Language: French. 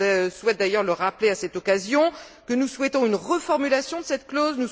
Je souhaite d'ailleurs rappeler à cette occasion que nous souhaitons une reformulation de cette clause.